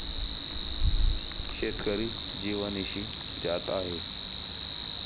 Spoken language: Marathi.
शेतकरी जिवानिशी जात आहेत.